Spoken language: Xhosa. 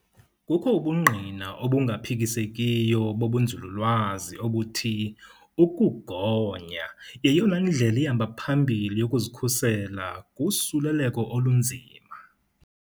Kukho ubungqina obungaphikisekiyo bobunzululwazi obuthi ukugonya yeyona ndlela ihamba phambili yokuzikhusela kusuleleko olunzima.